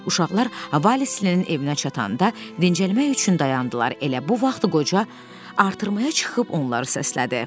Uşaqlar Valislinin evinə çatanda dincəlmək üçün dayandılar, elə bu vaxt qoca artırmaya çıxıb onları səslədi.